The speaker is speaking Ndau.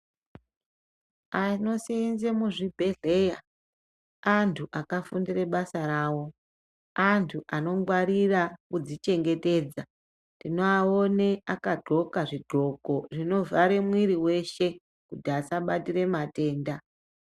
Anosenze muzvibhedhleya antu akafundire vasa rawo antu anongwarire kudzivhengetedza tinooano akapfeke zvidxoko zvinovhare mwiri weshe kuti asabatire matenda.